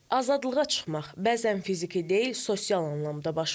Azadlığa çıxmaq bəzən fiziki deyil, sosial anlamda baş verir.